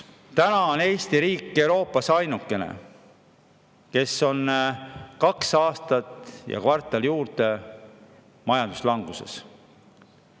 Täna on Eesti riik Euroopas ainukene, kes on kaks aastat ja kvartal juurde majanduslanguses.